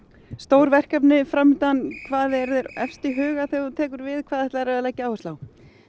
stór verkefni fram undan hvað er þér efst í huga þegar þú tekur við hvað ætlar þú að leggja áherslu á